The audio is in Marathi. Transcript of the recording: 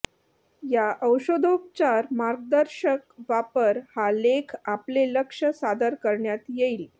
या औषधोपचार मार्गदर्शक वापर हा लेख आपले लक्ष सादर करण्यात येईल